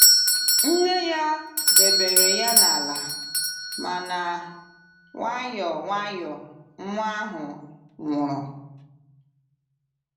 Nne ya debere ya n’ala, mana nwayọ nwayọ, nwa ahụ nwụrụ.